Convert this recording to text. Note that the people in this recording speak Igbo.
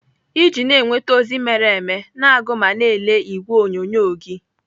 Iji na-enweta ozi mere eme, na-agụ ma na ele ìgwè onyonyo gị.